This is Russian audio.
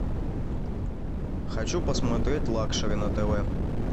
хочу посмотреть лакшери на тв